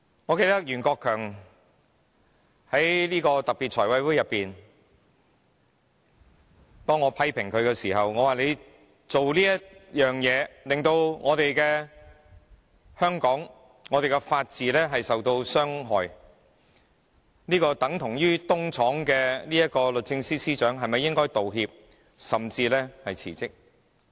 我記得在財務委員會特別會議上，我批評袁國強的做法，令香港的法治受到傷害，等同於"東廠"的律政司司長是否應道歉，甚至辭職？